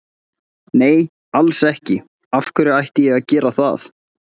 Nei alls ekki, af hverju ætti ég að gera það?